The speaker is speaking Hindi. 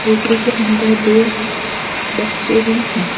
बेकरी के अंदर दो बच्चे भी हैं।